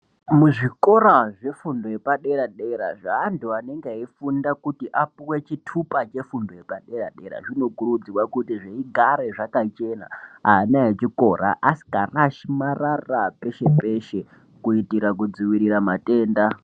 Mu zvikora zve fundo yepa dera dera zve antu anenge eyi funda kuti apuwe chitupa che fundo yepa dera dera ano kurudzirwa kuti zvigare zvaka chena ana echikora asika rashi marara peshe peshe kuitira ku dzivirira matenda.